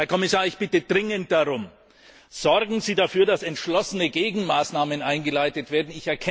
Herr Kommissar, ich bitte dringend darum Sorgen Sie dafür, dass entschlossene Gegenmaßnahmen eingeleitet werden!